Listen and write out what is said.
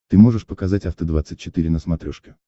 ты можешь показать афта двадцать четыре на смотрешке